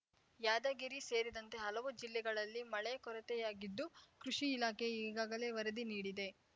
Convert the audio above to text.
ಯಾದಗಿರಿ ಸೇರಿದಂತೆ ಹಲವು ಜಿಲ್ಲೆಗಳಲ್ಲಿ ಮಳೆ ಕೊರತೆಯಾಗಿದ್ದು ಕೃಷಿ ಇಲಾಖೆ ಈಗಾಗಲೇ ವರದಿ ನೀಡಿದೆ